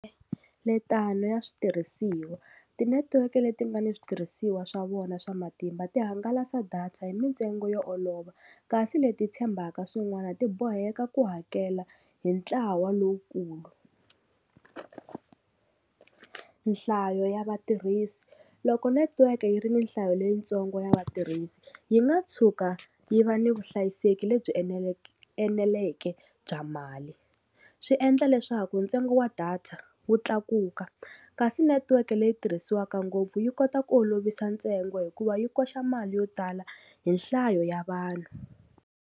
Letani ya switirhisiwa ti-network leti nga ni switirhisiwa swa vona swa matimba ti hangalasa data hi mintsengo yo olova kasi leti tshembaka swin'wana ti boheka ku hakela hi ntlawa lowukulu nhlayo ya vatirhisi loko network yi ri nhlayo leyitsongo ya vatirhisi yi nga tshuka yi va ni vuhlayiseki lebyi eneleke bya mali swi endla leswaku ntsengo wa data wu tlakuka kasi network leyi tirhisiwaka ngopfu yi kota ku olovisa ntsengo hikuva yi koxa mali yo tala hi nhlayo ya vanhu.